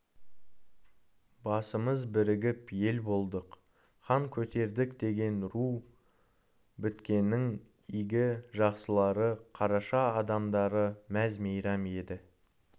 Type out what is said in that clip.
басымыз бірігіп ел болдық хан көтердікдеген ру біткеннің игі жақсылары қараша адамдары мәз-мейрам еді